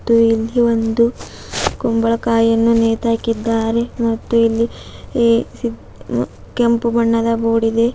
ಮತ್ತು ಇಲ್ಲಿ ಒಂದು ಕುಂಬಳಕಾಯಿ ಅನ್ನು ನೇತು ಹಾಕಿದ್ದಾರೆ ಮತ್ತು ಇಲ್ಲಿ ಎ ಕೆಂಪು ಬಣ್ಣದ ಬೋರ್ಡ್ ಇದೆ.